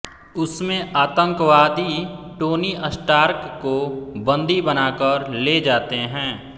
उसमे आतंकवादी Tony Stark को बंदी बनाकर लेजाते है